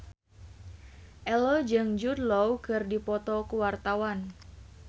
Ello jeung Jude Law keur dipoto ku wartawan